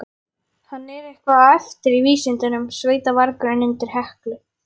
Hann er eitthvað á eftir í vísindunum, sveitavargurinn undir Heklu.